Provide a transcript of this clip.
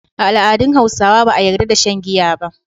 A al’adun Hausawa ba a yarda da shan giya ba.